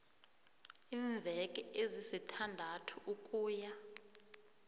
iimveke ezisithandathu ukuya